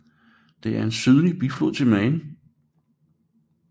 Det er en sydlig biflod til Main